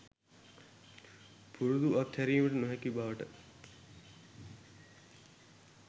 පුරුදු අත් හැරීමට නොහැකි බවට